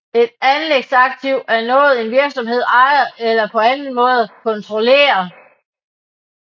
Et anlægsaktiv er noget en virksomhed ejer eller på anden måde kontrollerer